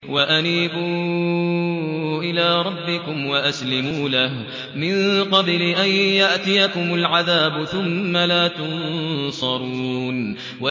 وَأَنِيبُوا إِلَىٰ رَبِّكُمْ وَأَسْلِمُوا لَهُ مِن قَبْلِ أَن يَأْتِيَكُمُ الْعَذَابُ ثُمَّ لَا تُنصَرُونَ